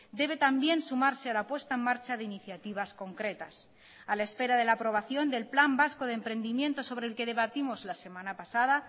debe también sumarse a la puesta en marcha de iniciativas concretas a la espera de la aprobación del plan vasco de emprendimientos sobre el que debatimos la semana pasada